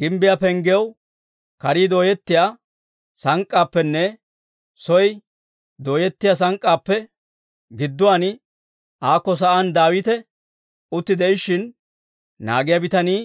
Gimbbiyaa penggiyaw kare dooyettiyaa sank'k'aappenne soo dooyettiyaa sank'k'aappe gidduwaan aako sa'aan Daawite utti de'ishshin, naagiyaa bitanii